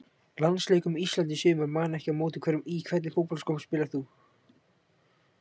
Landsleikur með Íslandi í sumar man ekki á móti hverjum Í hvernig fótboltaskóm spilar þú?